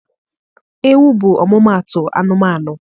Ewu bụ ọmụmaatụ anụmanụ.